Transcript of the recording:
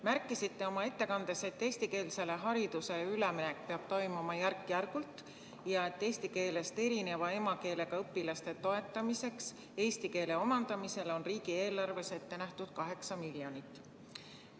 Märkisite oma ettekandes, et eestikeelsele haridusele üleminek peab toimuma järk-järgult ja et eesti keelest erineva emakeelega õpilaste toetamiseks eesti keele omandamisel on riigieelarves ette nähtud 8 miljonit.